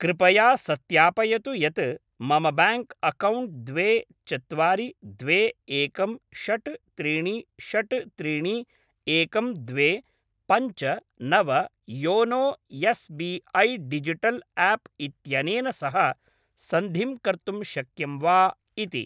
कृपया सत्यापयतु यत् मम ब्याङ्क् अक्कौण्ट् द्वे चत्वारि द्वे एकं षट् त्रीणि षट् त्रीणि एकं द्वे पञ्च नव YONO S B I digital app इत्यनेन सह सन्धिं कर्तुं शक्यं वा इति।